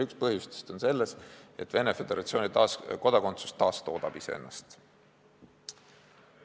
Üks põhjustest on see, et Venemaa Föderatsiooni kodakondsus taastoodab ennast.